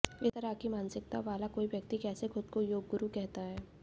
इस तरह की मानसिकता वाला कोई व्यक्ति कैसे खुद को योगगुरु कहता है